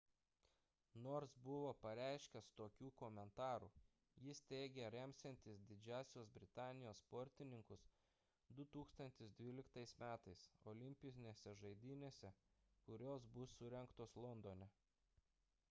nors buvo pareiškęs tokių komentarų jis teigė remsiantis didžiosios britanijos sportininkus 2012 m olimpinėse žaidynėse kurios bus surengtos londone